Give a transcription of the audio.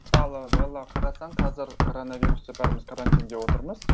мысалы белла қарасаң қазір коронавирусте бәріміз карантинде отырмыз